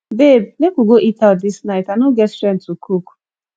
babe make we go eat out dis night i no get strength to cook